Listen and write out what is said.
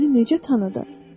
"O məni necə tanıdı?"